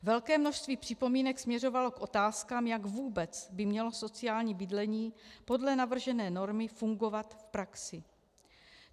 Velké množství připomínek směřovalo k otázkám, jak vůbec by mělo sociální bydlení podle navržené normy fungovat v praxi.